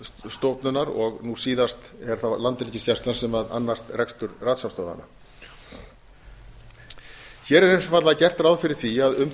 varnarmálastofnunar og nú síðast er það landhelgisgæslan sem annast rekstur rannsóknarstöðvanna hér er einfaldlega gert ráð fyrir því að um